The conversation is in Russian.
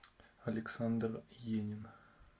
александр енин